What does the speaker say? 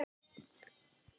Þeir fórnuðu hreinum.